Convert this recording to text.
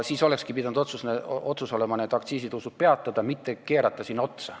Siis olekski pidanud tegema otsuse need aktsiisitõusud peatada, mitte keerata sinna otsa.